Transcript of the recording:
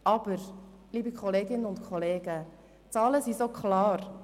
Aber, liebe Kolleginnen und Kollegen, die Zahlen sind so klar!